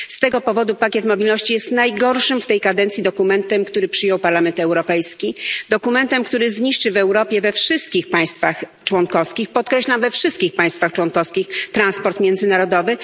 Z tego powodu pakiet mobilności jest najgorszym w tej kadencji dokumentem, który przyjął Parlament Europejski, dokumentem, który zniszczy w Europie we wszystkich państwach członkowskich, podkreślam we wszystkich państwach członkowskich, transport międzynarodowy.